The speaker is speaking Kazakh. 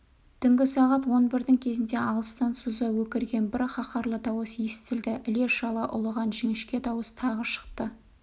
түнгі сағат он бірдің кезінде алыстан соза өкірген бір қаһарлы дауыс естілді іле-шала ұлыған жіңішке дауыс тағы шықты